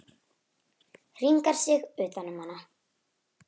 Hringar sig utan um hana.